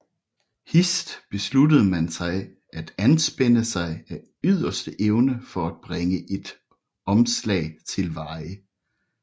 Hist besluttede man sig til at anspænde sig af yderste evne for at bringe et omslag til veje